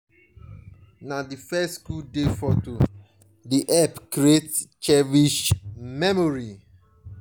na di first schoo day foto dey help create cherished memories.